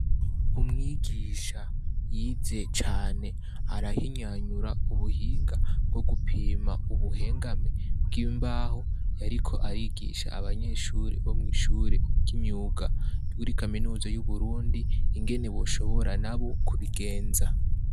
Umwigisha yize cane, arahinyanyura ubuhinga bwo gupima ubuhengame bw'imbaho, yariko arigisha abanyeshuri bo mwishuri y'imyuga yuri kaminuza y' Uburundi ingene boshobora nabo kubigenza.